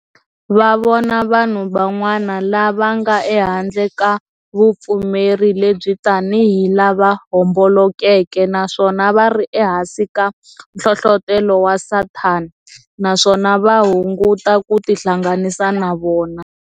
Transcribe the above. Va vona vanhu van'wana lava nga ehandle ku vupfumeri lebyi tani hi lava hombolokeke naswona vari e hansi ka nhlohlotelo wa Sathana, naswona va hunguta ku tihlanganisa na vona.